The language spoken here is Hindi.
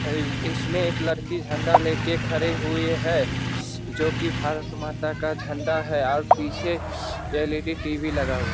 इसमें एक लड़की झंडा लेके खड़ी हुई है जो की भारत माता का झंडा है और पीछे एल.ई.डी. टी.वी. लगा हुआ --